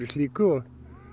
slíku og